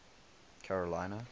carolina